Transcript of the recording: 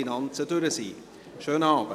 Einen schönen Abend.